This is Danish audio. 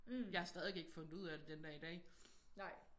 Jeg har stadig ikke fundet ud af det den dag i dag